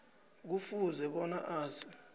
kufuze bona azi